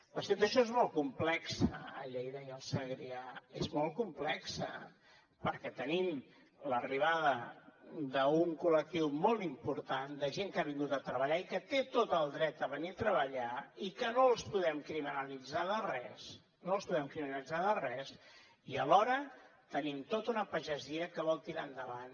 la situació és molt complexa a lleida i al segrià és molt complexa perquè tenim l’arribada d’un col·lectiu molt important de gent que ha vingut a treballar i que té tot el dret a venir a treballar i que no els podem criminalitzar de res no els podem criminalitzar de res i alhora tenim tota una pagesia que vol tirar endavant